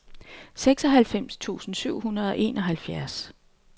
seksoghalvfems tusind syv hundrede og enoghalvfjerds